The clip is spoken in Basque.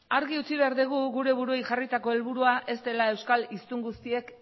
argi utzi behar dugu gure buruei jarritako helburua ez dela euskal hiztun guztiek